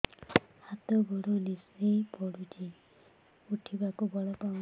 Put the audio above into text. ହାତ ଗୋଡ ନିସେଇ ପଡୁଛି ଉଠିବାକୁ ବଳ ପାଉନି